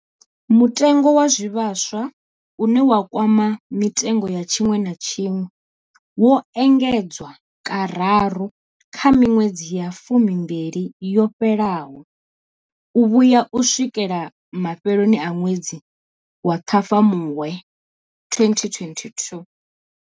Mutengo wa zwivhaswa, une wa kwama mitengo ya tshiṅwe na tshiṅwe, wo engedzwa kararu kha miṅwedzi ya fumimbili yo fhelaho u vhuya u swikela mafheloni a ṅwedzi wa Ṱhafamuhwe 2022.